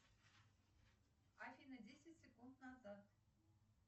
афина десять секунд назад